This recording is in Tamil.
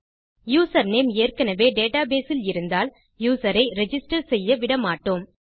யூசர்நேம் ஏற்கெனெவே டேடாபேஸில் இருந்தால் யூசர் ஐ ரிஜிஸ்டர் செய்ய விட மாட்டோம்